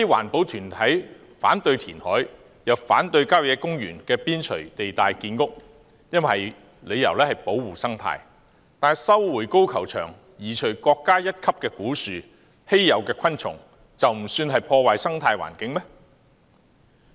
一些環保團體反對填海，又反對在郊野公園邊陲地帶建屋，理由是要保護生態，但收回高爾夫球場，移除國家一級古樹，影響稀有昆蟲的棲息地，便不算是破壞生態環境嗎？